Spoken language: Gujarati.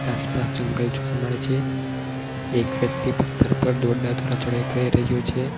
આસપાસ જંગલ જોવા મળે છે એક વ્યક્તિ પથ્થર ઉપર દોરડા દ્વારા ચડાઈ કરી રહ્યો છે.